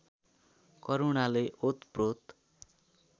करुणाले ओतप्रोत